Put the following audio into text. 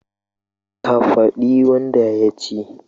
Ka fadi wanda yaci